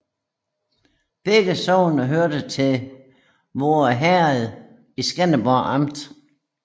Begge sogne hørte til Voer Herred i Skanderborg Amt